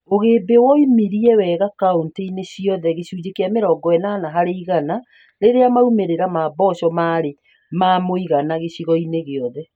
Ũgĩmbĩ waumirie wega kauntĩ-inĩ ciothe (gĩcunjĩ kĩa mĩrongo ĩnana harĩ igana) rĩrĩa maumĩrĩra ma mboco marĩ ma mũigana gĩcigo-inĩ gĩothe